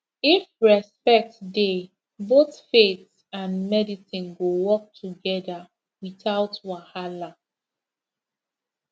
if respect dey both faith and medicine go work together without wahala